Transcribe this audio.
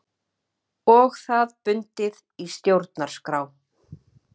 Og það bundið í stjórnarskrá